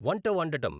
వంట వండటం